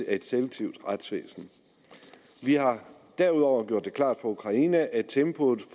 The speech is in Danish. et selektivt retsvæsen vi har derudover gjort det klart for ukraine at tempoet